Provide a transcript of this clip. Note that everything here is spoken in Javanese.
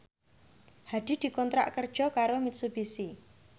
Hadi dikontrak kerja karo Mitsubishi